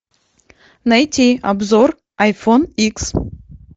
найти обзор айфон икс